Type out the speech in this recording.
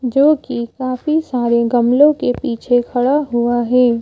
जो कि काफी सारे गमलों के पीछे खड़ा हुआ है।